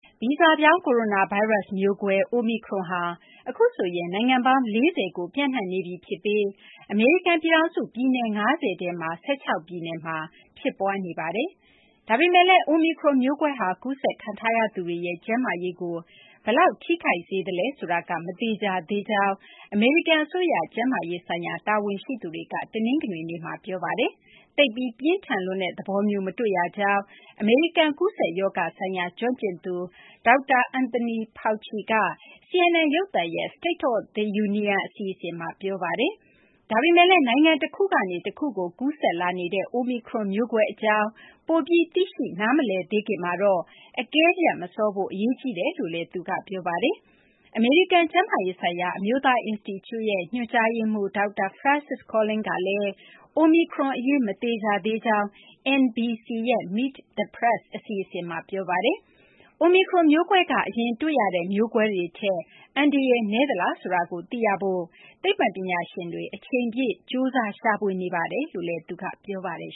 ဗီဇပြောင်း ကိုရိုနာဗိုင်းရပ်စ် မျိုးကွဲ အိုမီခရွန်ဟာ အခုဆိုရင် နိုင်ငံပေါင်း ၄၀ ကို ပျံ့နှံ့နေပြီ ဖြစ်ပြီး အမေရိကန်ပြည်ထောင်စု ပြည်နယ် ၅၀ ထဲမှာ ၁၆ ပြည်နယ်မှာ ဖြစ်ပွားနေပါတယ်။ ဒါပေမယ့်လည်း အိုမီခရွန် မျိုးကွဲဟာ ကူးစက်ခံထားရသူတွေရဲ့ ကျန်းမာရေးကို ဘယ်လောက် ထိခိုက်စေသလဲဆိုတာ မသေချာသေးကြောင်း အမေရိကန်အစိုးရ ကျန်းမာရေးဆိုင်ရာ တာဝန်ရှိသူတွေက တနင်္ဂနွေနေ့မှာ ပြောပါတယ်။ သိပ်ပြီး ပြင်းထန်လွန်းတဲ့ သဘောမျိုး မတွေ့ရကြောင်း အမေရိကန် ကူးစက်ရောဂါဆိုင်ရာ ကျွမ်းကျင်သူ ဒေါက်တာ Antony Fauci က CNN ရုပ်သံရဲ့ State of the Union အစီအစဉ်မှာ ပြောဆိုခဲ့ပါတယ်။ ဒါပေမယ့်လည်း နိုင်ငံတခုကနေ တခုကို ကူးစက်လာနေတဲ့ အိုမီခရွန် မျိုးကွဲအကြောင်း ပိုပြီး သိရှိ နားမလည်သေးခင်မှာတော့ အကဲဖြတ်မစောဖို့ အရေးကြီးတယ်လို့လည်း သူက ပြောပါတယ်။ အမေရိကန် ကျန်းမာရေးဆိုင်ရာ အမျိုးသား အင်စတီကျုရဲ့ ညွှန်ကြားရေးမှူး ဒေါက်တာ Francis Collins ကလည်း အိုမီခရွန်အရေး မသေချာသေးကြောင်း NBC ရဲ့ Meet the Press အစီအစဉ်မှာ ပြောပါတယ်။ အိုမီခရွန်မျိုးကွဲက အရင်တွေ့ရတဲ့ မျိုးကွဲတွေထက် အန္တရာယ်နည်းသလား ဆိုတာကို သိရဖို့ သိပ္ပံပညာရှင်တွေ အချိန်ပြည့် ကြိုးစားရှာဖွေနေကြောင်း ပြောပါတယ်